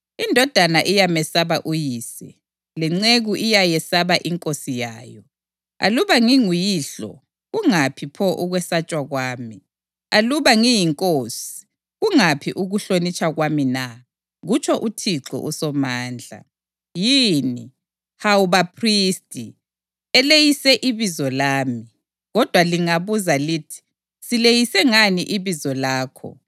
“Indodana iyamesaba uyise, lenceku iyayesaba inkosi yayo. Aluba nginguyihlo kungaphi pho ukwesatshwa kwami? Aluba ngiyinkosi kungaphi ukuhlonitshwa kwami na?” kutsho uThixo uSomandla. “Yini, hawu baphristi, eleyisa ibizo lami. Kodwa lingabuza lithi, ‘Sileyise ngani ibizo lakho?’